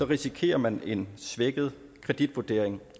risikerer man en svækket kreditvurdering